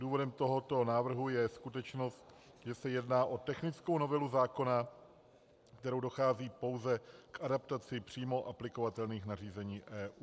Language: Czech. Důvodem tohoto návrhu je skutečnost, že se jedná o technickou novelu zákona, kterou dochází pouze k adaptaci přímo aplikovatelných nařízení EU.